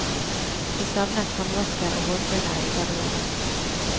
Vi savnet håndvasker og hårfønere i garderoben.